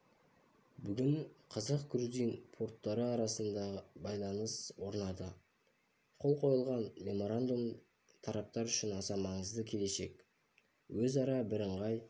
бүгін қазақ-грузин порттары арасында байланыс орнады қол қойылған меморандум тараптар үшін аса маңызды келешек өзара бірыңғай